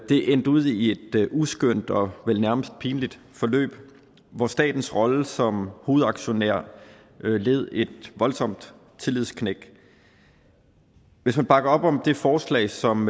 det endte ud i et uskønt og vel nærmest pinligt forløb hvor statens rolle som hovedaktionær led et voldsomt tillidsknæk hvis man bakker op om det forslag som